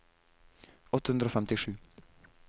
åtte hundre og femtisju